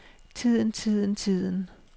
tiden tiden tiden